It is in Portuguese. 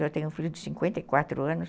Eu tenho um filho de cinquenta e quatro anos.